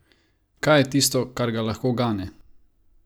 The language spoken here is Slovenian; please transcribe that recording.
Kaj je tisto, kar ga lahko gane?